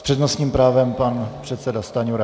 S přednostním právem pan předseda Stanjura.